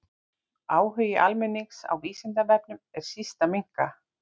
Áhugi almennings á Vísindavefnum er síst að minnka.